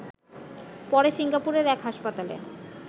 পরে সিঙ্গাপুরের এক হাসপাতালে